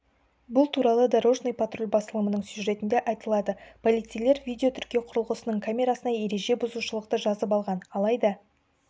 бұл туралы дорожный патруль басылымының сюжетінде айтылады полицейлер видеотіркеу құрылғысының камерасына ереже бұзушылықты жазып алған алайда